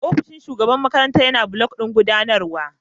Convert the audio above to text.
Ofishin Shugaban makarantar yana a block ɗin gudanarwa.